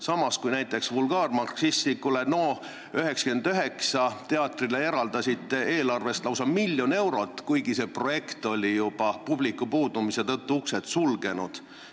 Samas kui näiteks vulgaarmarksistlikule NO99 teatrile eraldasite eelarvest lausa miljon eurot, kuigi see projekt oli publiku puudumise tõttu juba uksed sulgenud.